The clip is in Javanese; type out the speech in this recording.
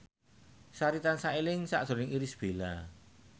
Sari tansah eling sakjroning Irish Bella